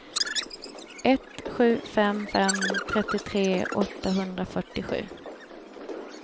ett sju fem fem trettiotre åttahundrafyrtiosju